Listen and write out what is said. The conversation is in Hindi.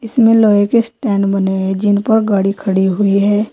इसमें लोहे के स्टैंड बने हैं जिन पर गाड़ी खड़ी हुई है।